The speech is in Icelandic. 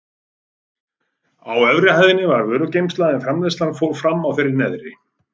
Á efri hæðinni var vörugeymsla en framleiðslan fór fram á þeirri neðri.